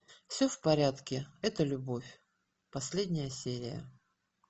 все в порядке это любовь последняя серия